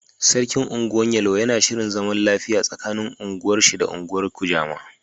Sarkin unguwar yelwa yana shirin zaman lafiya tsaƙanin ungwar shi da ungwan kujama.